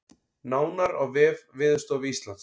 Nánar á vef Veðurstofu Íslands